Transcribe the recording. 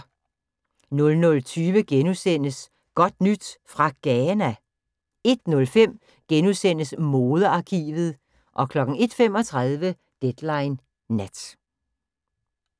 00:20: Godt nyt fra Ghana? * 01:05: Modearkivet * 01:35: Deadline Nat